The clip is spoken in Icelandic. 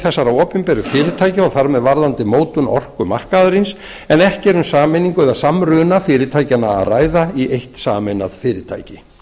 þessara opinberu fyrirtækja og þar með varðandi mótun orkumarkaðarins en ekki er um sameiningu eða samruna fyrirtækjanna að ræða í eitt sameinað fyrirtæki